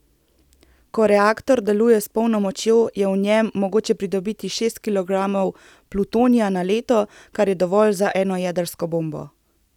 Ko reaktor deluje s polno močjo, je v njem mogoče pridobiti šest kilogramov plutonija na leto, kar je dovolj za eno jedrsko bombo.